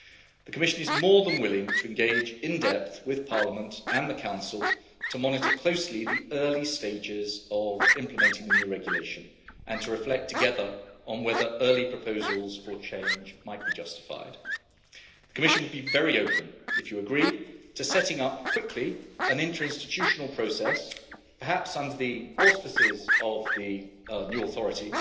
The Commission is more than willing to engage, in depth, with Parliament and the Council to monitor closely the early stages of implementing the new regulation and to reflect together on whether early proposals for change might be justified. The Commission will be very open, if you agree, to setting up quickly an interinstitutional process perhaps under the auspices of the new authority